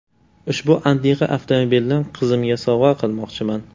Ushbu antiqa avtomobilni qizimga sovg‘a qilmoqchiman.